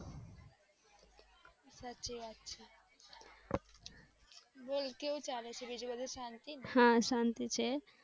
સાચી વાત છે બોલ કેવું ચાલે છે. બીજી બાજુ શાંતિ.